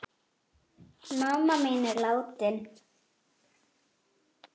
Mamma mín er látin.